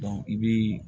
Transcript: i bi